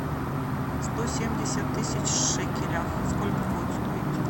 сто семьдесят тысяч в шекелях сколько будет стоить